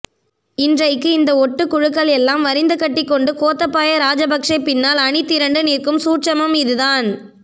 இன்றைக்கு இந்த ஒட்டுக்குழுக்கள் எல்லாம் வரிந்து கட்டி கொண்டு கோத்தபாயா ராஜபக்சே பின்னால் அணிதிரண்டு நிற்கும் சூட்சுமம் இது தான்